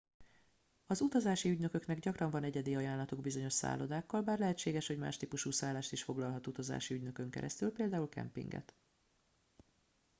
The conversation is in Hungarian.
az utazási ügynököknek gyakran van egyedi ajánlatuk bizonyos szállodákkal bár lehetséges hogy más típusú szállást is foglalhat utazási ügynökön keresztül például kempinget